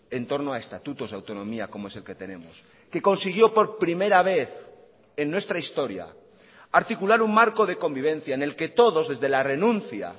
en torno a estatutos de autonomía como es el que tenemos que consiguió por primera vez en nuestra historia articular un marco de convivencia en el que todos desde la renuncia